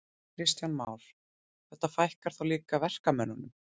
Kristján Már: Þetta fækkar þá líka verkamönnunum?